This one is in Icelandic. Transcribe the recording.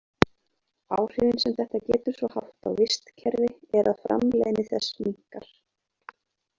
Áhrifin sem þetta getur svo haft á vistkerfi er að framleiðni þess minnkar.